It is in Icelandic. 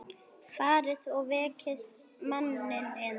Farið og vekið manninn yðar.